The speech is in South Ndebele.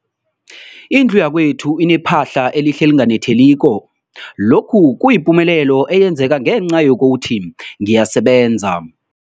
Indlu yakwethu inephahla elihle, elinganetheliko, lokhu kuyipumelelo eyenzeke ngenca yokuthi ngiyasebenza.